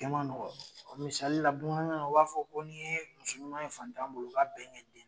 A kɛma nɔgɔ, misali la, bamanakan na u b'a fɔ ko n' ye muso ɲuma ye fatanan bolo k'a bɛnkɛ